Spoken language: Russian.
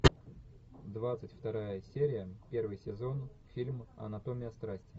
двадцать вторая серия первый сезон фильм анатомия страсти